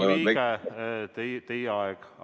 Austatud Riigikogu liige, teie aeg on läbi.